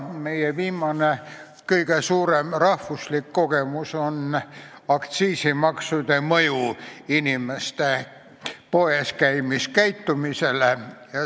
Meie viimane kõige suurem rahvuslik kogemus on aktsiiside mõju inimeste poeskäimisharjumustele.